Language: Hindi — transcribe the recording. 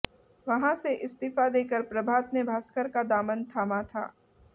वहां से इस्तीफा देकर प्रभात ने भास्कर का दामन थामा था